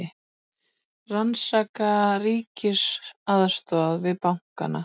Rannsaka ríkisaðstoð við bankana